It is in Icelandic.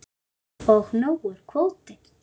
Og nógur kvóti.